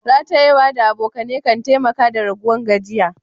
Ratayewa da abokane kan taimaka da raguwan gajiya.